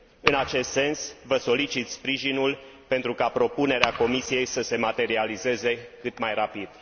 În acest sens, vă solicit sprijinul pentru ca propunerea Comisiei să se materializeze cât mai rapid.